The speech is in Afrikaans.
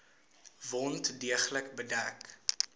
wond deeglik bedek